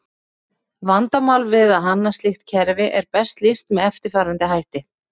Vandamál við að hanna slíkt kerfi er best lýst með eftirfarandi hætti.